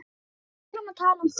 Heldur áfram að tala um Þór